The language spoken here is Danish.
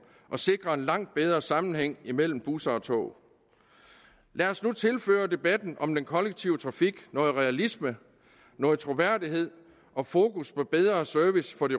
og sikre en langt bedre sammenhæng mellem busser og tog lad os nu tilføre debatten om den kollektive trafik noget realisme noget troværdighed og fokus på bedre service for de